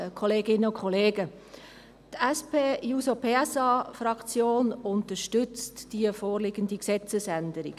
Die SP-JUSO-PSA-Fraktion unterstützt die vorliegende Gesetzesänderung.